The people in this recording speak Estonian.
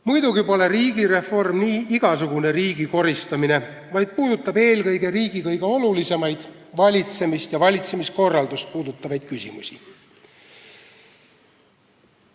Muidugi pole riigireform igasugune riigi koristamine, vaid puudutab eelkõige riigi kõige olulisemaid, valitsemist ja valitsemiskorraldust puudutavaid küsimusi.